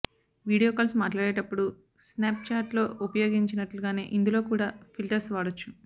video calls మాట్లాడేప్పుడు స్నాప్చాట్లో ఉపయోగించినట్లుగానే ఇందులో కూడా ఫిల్టర్స్ వాడొచ్చు